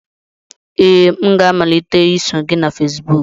Ee, m ga-amalite iso gị na Fesibuku